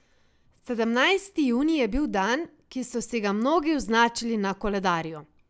Sedemnajsti junij je bil dan, ki so si ga mnogi označili na koledarju.